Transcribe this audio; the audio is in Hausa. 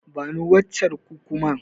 Bani waccen Kukumar.